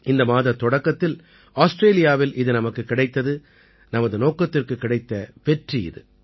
இந்த மாதத் தொடக்கத்தில் ஆஸ்ட்ரேலியாவில் இது நமக்குக் கிடைத்தது நமது நோக்கத்திற்குக் கிடைத்த வெற்றி இது